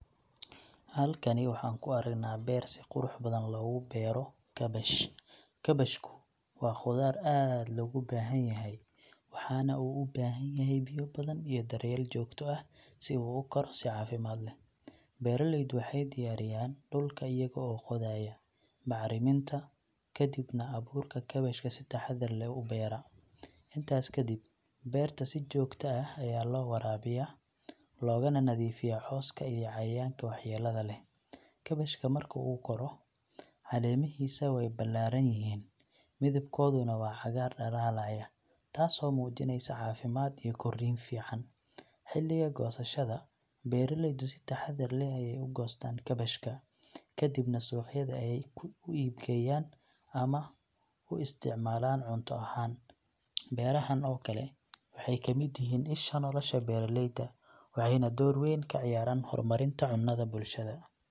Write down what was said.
Halkani waxaan ku aragnaa beer si qurux badan loogu beero kaabash. Kaabashku waa khudaar aad loogu baahan yahay, waxaana uu u baahan yahay biyo badan iyo daryeel joogto ah si uu u koro si caafimaad leh. Beeraleydu waxay diyaariyaan dhulka iyaga oo qodaya, bacriminta, kadibna abuurka kaabashka si taxadar leh u beera. Intaas kadib, beerta si joogta ah ayaa loo waraabiyaa, loogana nadiifiyaa cawska iyo cayayaanka waxyeellada leh. Kaabashka marka uu koro, caleemihiisa way ballaadhan yihiin, midabkooduna waa cagaar dhalaalaya, taasoo muujinaysa caafimaad iyo koriin fiican. Xilliga goosashada, beeraleydu si taxaddar leh ayay u goostaan kaabashka, kadibna suuqyada ayay ku u iibgeeyaan ama u isticmaalaan cunto ahaan. Beerahan oo kale waxay ka mid yihiin isha nolosha beeraleyda, waxayna door weyn ka ciyaaraan horumarinta cunnada bulshada.